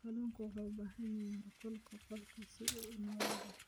Kalluunku wuxuu u baahan yahay heerkulka qolka si uu u noolaado.